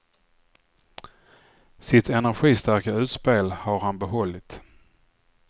Sitt energistarka utspel har han behållit.